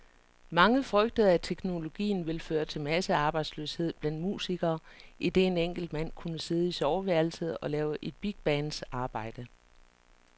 Mange frygtede, at teknologien ville føre til massearbejdsløshed blandt musikere, idet en enkelt mand kunne sidde i soveværelset og lave et bigbands arbejde.